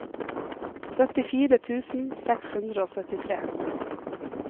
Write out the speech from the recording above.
syttifire tusen seks hundre og syttitre